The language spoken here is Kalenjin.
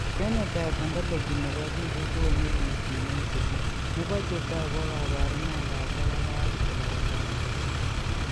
Phenotype ontology nebo biik kokoonu listit neisibu nebo chetoogu ak kaborunoik ab localized sclerodema